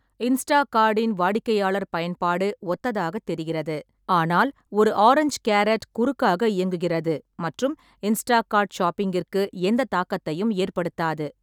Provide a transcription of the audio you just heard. இன்ஸ்டாகார்ட்டின் வாடிக்கையாளர் பயன்பாடு ஒத்ததாகத் தெரிகிறது, ஆனால் ஒரு ஆரஞ்சு கேரட் குறுக்காக இயங்குகிறது மற்றும் இன்ஸ்டாகார்ட் ஷாப்பிங்கிற்கு எந்த தாக்கத்தையும் ஏற்படுத்தாது.